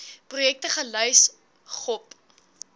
projekte gelys gop